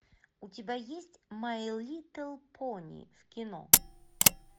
у тебя есть май литл пони в кино